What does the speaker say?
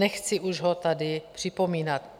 Nechci už ho tady připomínat.